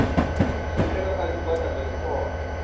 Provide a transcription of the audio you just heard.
tshumelo kha zwigwada zwa zwikolo